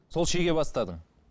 сол шеге бастадың